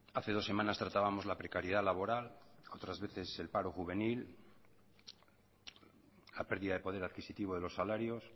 hace dos semanas tratábamos la precariedad laboral otras veces el paro juvenil la pérdida de poder adquisitivo de los salarios